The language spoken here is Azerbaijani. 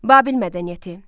Babil mədəniyyəti.